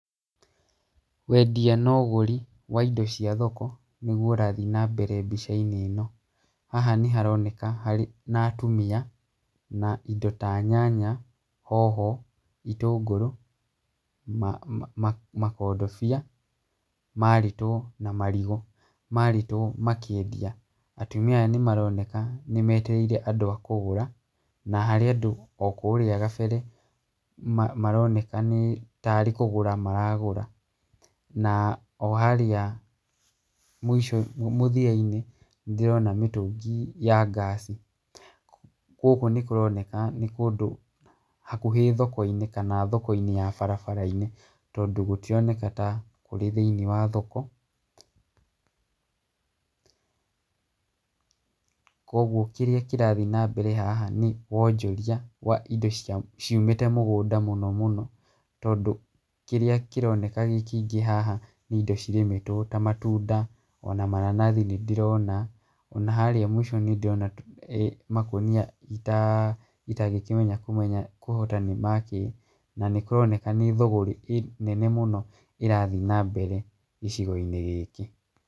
Wendia na ũgũri wa indo cia thoko , nĩgwo ũrathiĩ na mbere mbica-inĩ ĩno, haha nĩ haroneka harĩ na atumia, na indo ta nyanya, hoho, itũngũrũ, ma makondobia marĩtwo na marigũ, marĩtwo makĩendia, atumia aya nĩmaroneka nĩmetereire andũ akũgũra , na harĩ andũ o kũrĩa gambere maroneka tarĩ nĩ kũgũra maragũra, na o harĩa mũico mũthia-inĩ, nĩ ndĩrona mĩtũngi ya ngasi , gũkũ nĩ kũroneka nĩ kũndũ hakuhĩ thoko-inĩ, kana thoko-inĩ ya barabara-inĩ, tondũ gũtironeka ta kũrĩ thĩiniĩ wa thoko kũgwo kĩrĩa kĩrathiĩ na mbere haha nĩ wonjoria wa indo cia , ciumĩte mũgũnda mũno mũno , tondũ kĩrĩa kĩroneka gĩ kĩingĩ haha nĩ indo cirĩmĩtwo ta matunda, ona mananathi nĩ ndĩrona, ona harĩa mũico nĩ ndĩrona makũnia ta, itangĩkimenya kũhota kũmenya nĩ ma kĩ, na nĩ kũroneka nĩ thũgũrĩ nene mũno ĩrathiĩ na mbere gĩcigo-inĩ gĩkĩ.